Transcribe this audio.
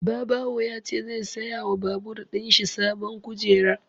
Babawo ya ce zai saya wa babur ɗin shi sabon kujera